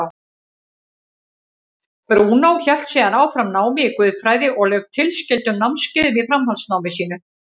Brúnó hélt síðan áfram námi í guðfræði og lauk tilskildum námskeiðum í framhaldsnámi sínu.